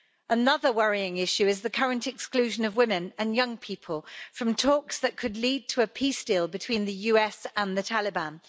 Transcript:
Another worrying issue is the current exclusion of women and young people from talks that could lead to a peace deal between the US and the Taliban.